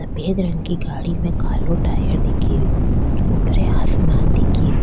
सफेद रंग की गाड़ी में कालो टायर दिखे रो ऊपरे आसमान दिखे रो।